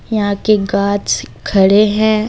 यहां के ग़ाछ खड़े हैं।